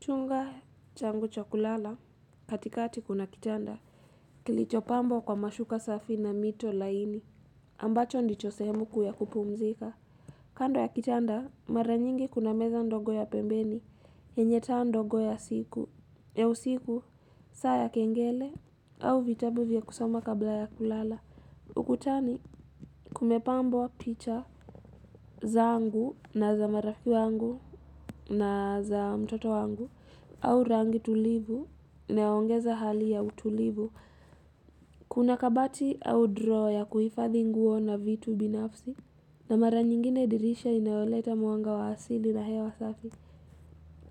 Chunga changu cho kulala, katikati kuna kitanda. Kilichopambwo kwa mashuka safi na mito laini, ambacho ndicho sehemu kuu ya kupumzika. Kando ya kitanda, mara nyingi kuna meza ndogo ya pembeni, yenye taa ndogo ya siku. Ya usiku, saa ya kengele, au vitabu vya kusoma kabla ya kulala. Ukutani kumepambwo picha. Zaangu na za marafiki wangu na za mtoto wangu au rangi tulivu inayoongeza hali ya utulivu kuna kabati au droa ya kuhifadhi nguo na vitu binafsi na mara nyingine dirisha inayoleta mwanga wa asili na hewa safi